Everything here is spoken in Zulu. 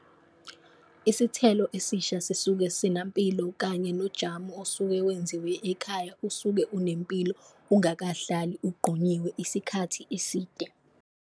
Isithelo esisha sisuke sinampilo kanye nojamu osuke wenziwe ekhaya usuke unempilo, ungakahlali ugqonyiwe isikhathi iside.